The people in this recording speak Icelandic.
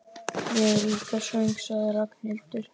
Ég er líka svöng sagði Ragnhildur.